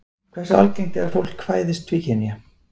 Hversu algengt er að fólk fæðist tvíkynja?